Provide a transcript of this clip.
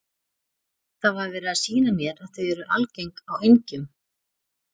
Það var verið að sýna mér að þau eru algeng á engjum.